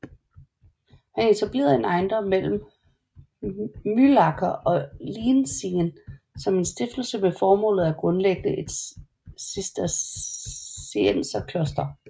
Han etablerede en ejendom mellem Mühlacker og Lienzingen som en stiftelse med formålet at grundlægge et cistercienserkloster